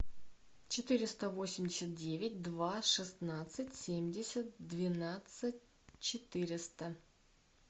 четыреста восемьдесят девять два шестнадцать семьдесят двенадцать четыреста